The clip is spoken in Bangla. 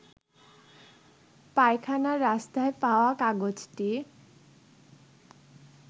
পায়খানার রাস্তায় পাওয়া কাগজটি